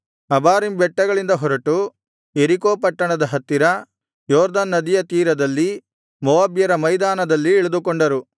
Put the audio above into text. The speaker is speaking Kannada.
ಅಬಾರೀಮ್ ಬೆಟ್ಟಗಳಿಂದ ಹೊರಟು ಯೆರಿಕೋ ಪಟ್ಟಣದ ಹತ್ತಿರ ಯೊರ್ದನ್ ನದಿಯ ತೀರದಲ್ಲಿ ಮೋವಾಬ್ಯರ ಮೈದಾನದಲ್ಲಿ ಇಳಿದುಕೊಂಡರು